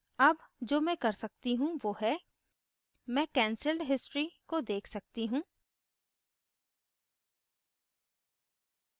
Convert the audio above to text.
अब जो मैं कर सकती हूँ now है मैं canceled history cancelled history को देख सकती हूँ